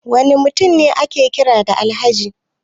Wani mutum ne ake kira da Alhaji?